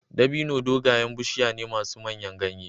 Dabino dogayen bishiya ne masu manyan ganye.